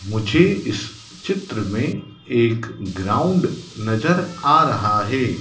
मुझे इस चित्र में एक ग्राउंड नजर आ रहा है।